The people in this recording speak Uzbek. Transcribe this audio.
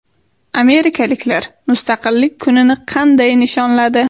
Amerikaliklar Mustaqillik kunini qanday nishonladi?